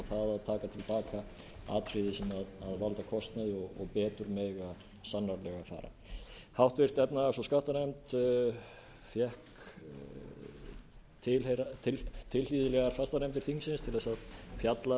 það að taka til baka atriða sem valda kostnaði og betur mega sannarlega fara háttvirtrar efnahags og skattanefnd fékk tilhlýðilegar fastanefndir þingsins til að fjalla